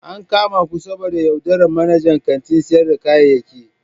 An kama ku saboda yaudarar manajan kantin sayar da kayayyaki.